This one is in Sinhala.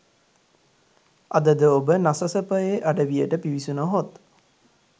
අද ද ඔබ නසසපයේ අඩවියට පිවිසුන හොත්